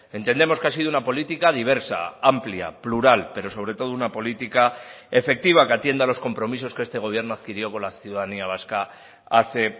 entendemos que ha sido una política diversa amplia plural pero sobre todo una política efectiva que atiende a los compromisos que este gobierno adquirió con la ciudadanía vasca hace